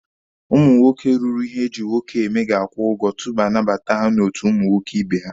Ụmụ nwoke ruru ihe eji nwoke eme ga-akwụ ụgwọ tupu anabata ha n'otu ụmụ nwoke ibe ha.